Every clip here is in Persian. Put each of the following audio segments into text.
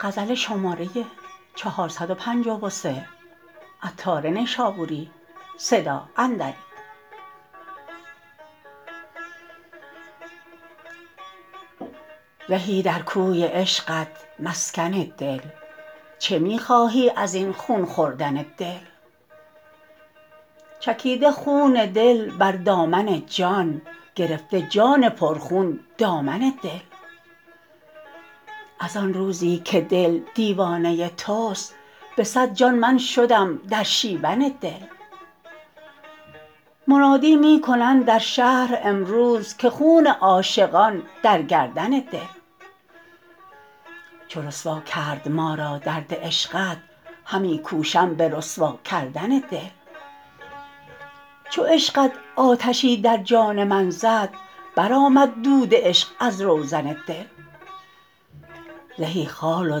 زهی در کوی عشقت مسکن دل چه می خواهی ازین خون خوردن دل چکیده خون دل بر دامن جان گرفته جان پرخون دامن دل از آن روزی که دل دیوانه توست به صد جان من شدم در شیون دل منادی می کنند در شهر امروز که خون عاشقان در گردن دل چو رسوا کرد ما را درد عشقت همی کوشم به رسوا کردن دل چو عشقت آتشی در جان من زد برآمد دود عشق از روزن دل زهی خال و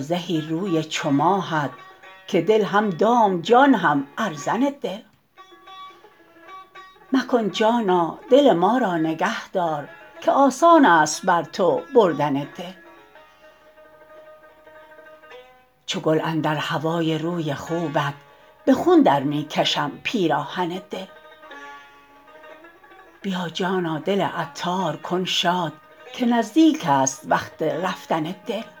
زهی روی چو ماهت که دل هم دام جان هم ارزن دل مکن جانا دل ما را نگه دار که آسان است بر تو بردن دل چو گل اندر هوای روی خوبت به خون درمی کشم پیراهن دل بیا جانا دل عطار کن شاد که نزدیک است وقت رفتن دل